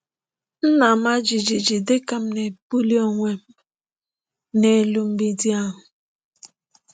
M na-ama jijiji dịka m na-ebuli onwe m n’elu mgbidi ahụ.